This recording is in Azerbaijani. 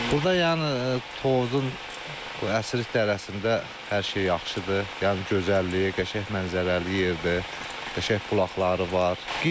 Burda yəni Tovuzun əsrik dərəsində hər şey yaxşıdır, yəni gözəlliyi, qəşəng mənzərəli yerdə qəşəng qulaqları var.